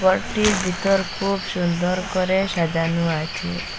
ঘরটির ভিতর খুব সুন্দর করে সাজানো আছে।